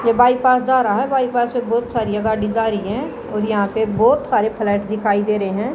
ये बाईपास जा रहा है बाईपास पे बहोत सारी गाड़ियां जा रही है और यहां पे बहोत सारी फ्लैट दिखाई दे रहे है।